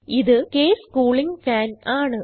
ഇത് case cooling fan ആണ്